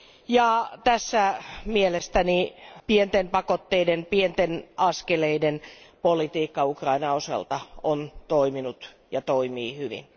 Ja tässä mielestäni pienten pakotteiden, pienten askeleiden politiikka Ukrainan osalta on toiminut ja toimii hyvin.